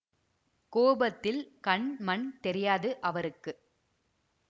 கோபத்தில் கண் மண் தெரியாது அவருக்கு